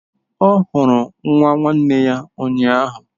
Ọ hụrụ nwa nwanne ya ụnyahụ.